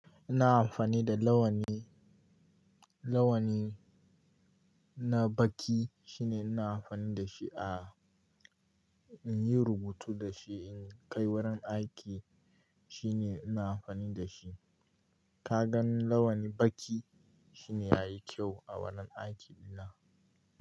Ina amfani da launi, launi na baƙi shine ina amfani da shi a, in yi rubutu da shi, in kai wurin aiki shine ina amfani da shi. Kagan launi baƙi shine yayi kyau a wannan aiki dina.